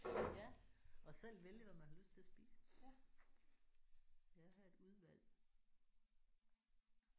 Ja og selv vælge hvad man har lyst til at spise. Det er da et udvalg